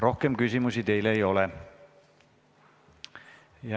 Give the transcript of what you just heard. Rohkem küsimusi teile ei ole.